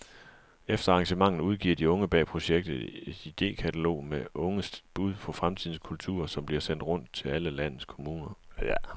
Efter arrangementet udgiver de unge bag projektet et idekatalog med unges bud på fremtidens kultur, som bliver sendt rundt til alle landets kommuner.